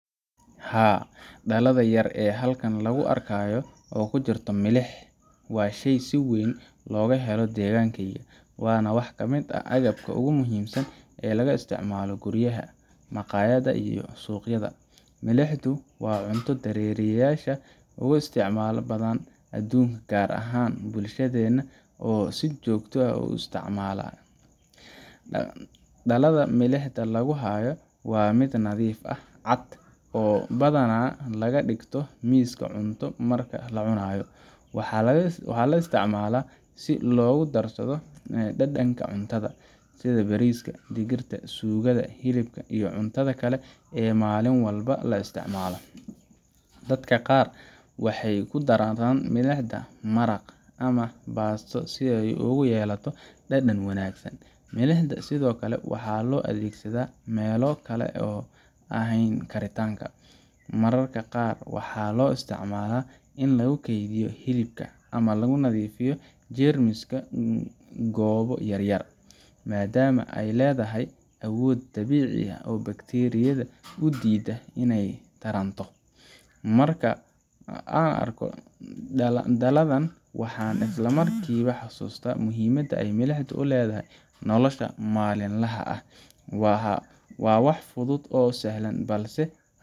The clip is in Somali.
Haa, dhalada yar ee halkan lagu arkayo oo ay ku jirto milix waa shay si weyn looga helo deegaankayga, waana wax ka mid ah agabka ugu muhiimsan ee laga isticmaalo guryaha, maqaayadaha, iyo suuqyada. Milixdu waa cunto dareeriyeyaasha ugu isticmaalka badan adduunka, gaar ahaan bulshadeenna oo si joogto ah u isticmaasha. Dhalada milixda lagu hayo waa mid nadiif ah, cad, oo badanaa la dhigto miiska cunto marka la cunayo. Waxaa la isticmaalaa si loogu darsado dhadhanka cuntada, sida bariiska, digirta, suugada, hilibka, iyo cuntada kale ee maalin walba la isticmaalo. Dadka qaar waxay ku daraan milixda maraq ama baasto si ay ugu yeelato dhadhan wanaagsan. Milixda sidoo kale waxaa loo adeegsadaa meelo kale oo aan ahayn karinta mararka qaar waxaa loo isticmaalaa in lagu keydiyo hilibka, ama lagu nadiifiyo jeermiska goobo yar yar, maadaama ay leedahay awood dabiici ah oo bakteeriyada u diida inay taranto. Markaan arko dhaladan, waxaan isla markiiba xusuustaa muhiimada ay milixdu u leedahay nolosha maalinlaha ah. Waa wax fudud oo sahlan, balse